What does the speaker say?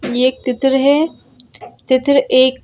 ये एक तित्र है तित्र एक--